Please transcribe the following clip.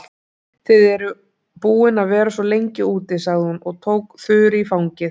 Þið eruð búin að vera svo lengi úti, sagði hún og tók Þuru í fangið.